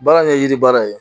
Baara in ye yiri baara ye